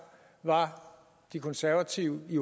var de konservative i